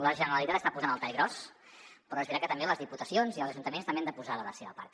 la generalitat hi està posant el tall gros però és veritat que les diputacions i els ajuntaments també hi han de posar de la seva part